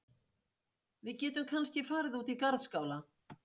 Við getum kannski farið út í garðskála.